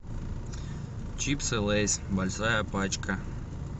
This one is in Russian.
чипсы лейс большая пачка